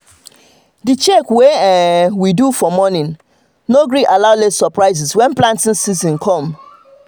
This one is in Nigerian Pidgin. the check wey um we dey do um for morning no um gree allow late suprises when planting season come